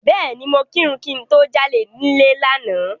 Bẹ́ẹ̀ni, mo kírun kí n tó jáde nílé lánàá.